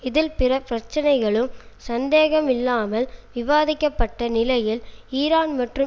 இதில் பிற பிரச்சனைகளும் சந்தேகமில்லாமல் விவாதிக்கப்பட்ட நிலையில் ஈரான் மற்றும்